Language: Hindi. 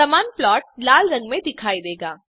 समान प्लॉट लाल रंग में दिखाई देगा